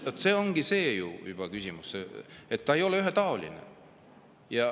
See ongi juba küsimus, et valimised ei ole ühetaolised.